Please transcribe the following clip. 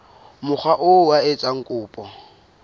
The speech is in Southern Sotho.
mokga oo a etsang kopo